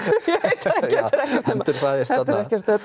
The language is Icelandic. já endurfæðist þarna